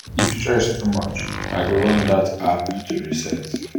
if stress too much i go run that app to reset.